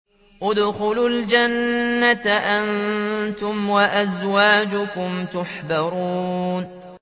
ادْخُلُوا الْجَنَّةَ أَنتُمْ وَأَزْوَاجُكُمْ تُحْبَرُونَ